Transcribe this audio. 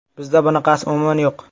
Bizda bunaqasi umuman yo‘q.